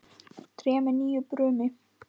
Tré með nýju brumi.